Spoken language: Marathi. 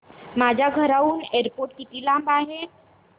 माझ्या घराहून एअरपोर्ट किती लांब आहे